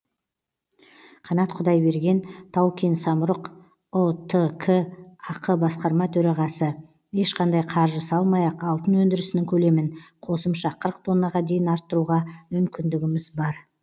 қанат құдайберген тау кен самұрық ұтк ақ басқарма төрағасы ешқандай қаржы салмай ақ алтын өндірісінің көлемін қосымша қырық тоннаға дейін арттыруға мүмкіндігіміз бар